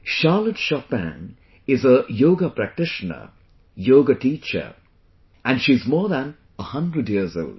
Charlotte Chopin is a Yoga Practitioner, Yoga Teacher, and she is more than a 100 years old